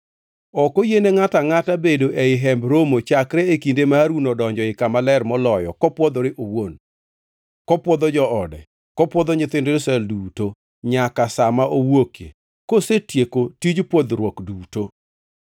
Ok oyiene ngʼato angʼata bedo ei Hemb Romo chakre e kinde ma Harun odonjo ei Kama Ler Moloyo kopwodhore owuon, kopwodho joode, kopwodho nyithind Israel duto, nyaka sa ma owuokie, kosetieko tij pwodhruok duto.